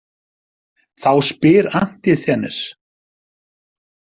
Þá spyr Antisþenes.